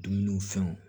Dumuni fɛnw